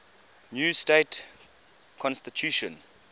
new state constitution